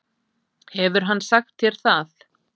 Hefur hann sagt þér það?